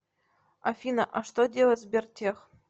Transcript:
афина а что делает сбертех